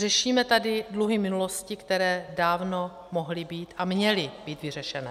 Řešíme tady dluhy minulosti, které dávno mohly být a měly být vyřešené.